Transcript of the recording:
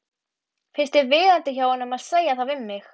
Finnst þér viðeigandi hjá honum að segja það við mig?